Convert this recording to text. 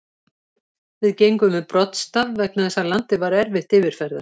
Við gengum við broddstaf vegna þess að landið var erfitt yfirferðar.